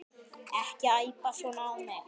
Ekki æpa svona á mig.